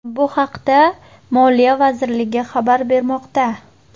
Bu haqda Moliya vazirligi xabar bermoqda .